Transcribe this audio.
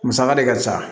Musaka de ka ca